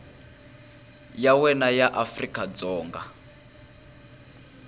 ya wena ya afrika dzonga